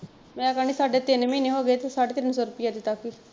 ਮੈਂ ਕਹਿਣੀ ਸਾਡੇ ਤਿੰਨ ਮਹੀਨੇ ਹੋਗੇ ਤੇ ਸਾਡੇ ਤਿੰਨ ਸੋ ਰੁਪਇਆ ਦਿੱਤਾ ਸੀ।